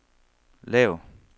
lav